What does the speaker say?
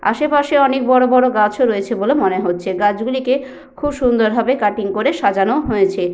আশেপাশে অনেক বড় বড় গাছও রয়েছে বলে মনে হচ্ছে। গাছগুলিকে খুব সুন্দরভাবে কাটিং করে সাজানো হয়েছে।